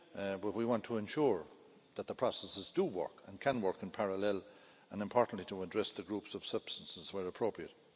but we want to ensure that the processes do work and can work in parallel and, importantly, to address the groups of substances where appropriate.